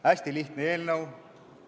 Hästi lihtne eelnõu.